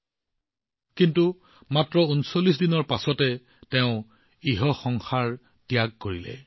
যেতিয়া তাইৰ বয়স মাত্ৰ উনত্ৰিশ দিন আছিল তাই এই পৃথিৱী এৰি গুচি গৈছিল